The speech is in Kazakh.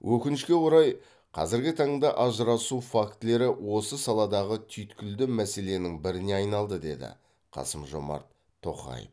өкінішке орай қазіргі таңда ажырасу фактілері осы саладағы түйткілді мәселенің біріне айналды деді қасым жормат тоқаев